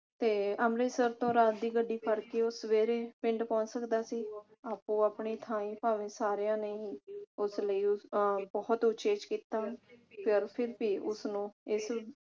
ਤੇ ਅੰਮ੍ਰਿਤਸਰ ਤੋਂ ਰਾਤ ਦੀ ਗੱਡੀ ਫੜ ਕੇ ਉਹ ਸਵੇਰੇ ਪਿੰਡ ਪਹੁੰਚ ਸਕਦਾ ਸੀ। ਆਪੋ ਆਪਣੀ ਥਾਈ ਭਾਵੇ ਸਾਰਿਆਂ ਨੇ ਉਸ ਲਈ ਉਹ ਉਚੇਚ ਕੀਤਾ ਪਰ ਫਿਰ ਵੀ ਉਸ ਨੂੰ